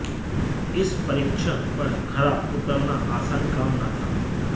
इस परीक्षण पर खरा उतरना आसान काम न था